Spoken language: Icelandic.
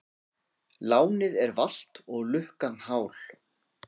Lánið er valt og lukkan hál.